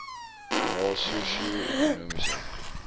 na sosio ekonomiese